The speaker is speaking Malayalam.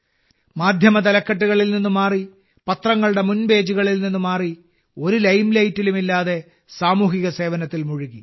മാധ്യമതലക്കെട്ടുകളിൽ നിന്ന് മാറി പത്രങ്ങളുടെ മുൻ പേജുകളിൽ നിന്ന് മാറി ഒരു ലൈംലൈറ്റും ഇല്ലാതെ സാമൂഹിക സേവനത്തിൽ മുഴുകി